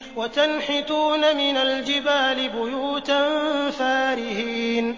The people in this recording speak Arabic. وَتَنْحِتُونَ مِنَ الْجِبَالِ بُيُوتًا فَارِهِينَ